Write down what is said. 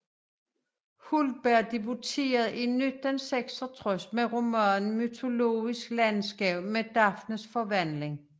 Hultberg debuterede i 1966 med romanen Mytologisk landskab med Daphnes forvandling